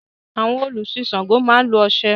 Àwọn olùsin Ṣàngó máa lo oṣé.